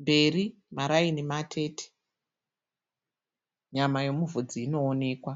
Mberi maraini matete. Nyama yomuvhudzi inoonekwa.